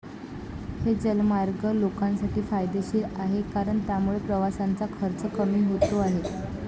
हे जलमार्ग लोकांसाठी फायदेशीर आहे कारण त्यामुळे प्रवासाचा खर्च कमी होतो आहे.